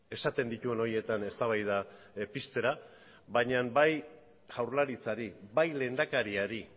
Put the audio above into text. esaten dituen horietan eztabaida piztera baina bai jaurlaritzari bai lehendakariari